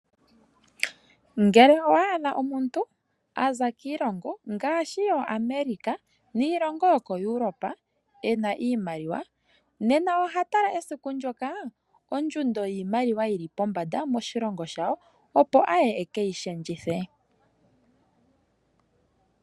Ngele owa adha omuntu aza kiilongo ngaashi yoAmerica niilongo yokoEuropa ena iimaliwa, nena oha tala esiku ndyoka ondjundo yiimaliwa yili pombanda moshilongo shawo, opo aye ekeyi shendjithe.